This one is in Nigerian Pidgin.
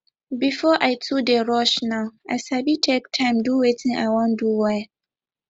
before i too dey rush now i sabi take time do wetin i wan do well